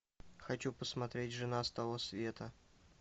хочу посмотреть жена с того света